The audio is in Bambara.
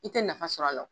I tɛ nafa sɔrɔ a la